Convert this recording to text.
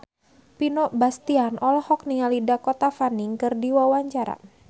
Vino Bastian olohok ningali Dakota Fanning keur diwawancara